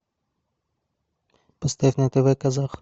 поставь на тв казах